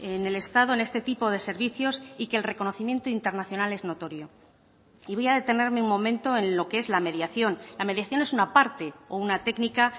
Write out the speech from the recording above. en el estado en este tipo de servicios y que el reconocimiento internacional es notorio y voy a detenerme un momento en lo que es la mediación la mediación es una parte o una técnica